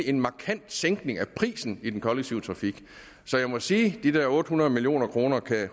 en markant sænkning af prisen i den kollektive trafik så jeg må sige at de der otte hundrede million kroner